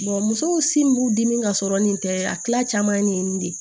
musow sin b'u dimi ka sɔrɔ nin tɛ a tila caman ye nin ye nin de ye